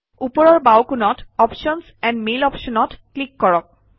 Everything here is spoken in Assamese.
ওপৰৰ বাওঁকোণত অপশ্যনছ এণ্ড মেইল Options অত ক্লিক কৰক